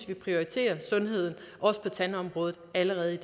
vi prioriterer sundheden også på tandområdet allerede